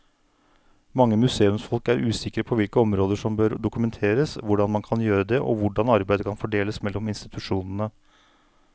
Mange museumsfolk er usikre på hvilke områder som bør dokumenteres, hvordan man kan gjøre det og hvordan arbeidet kan fordeles mellom institusjonene.